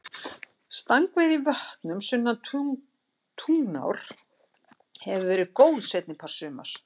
Stangveiði í vötnum sunnan Tungnár hefur verið góð seinni part sumars.